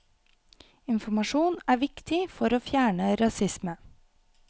Informasjon er viktig for å fjerne rasisme.